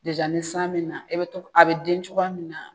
ni san me na e bɛ to, a bɛ den cogoya min na,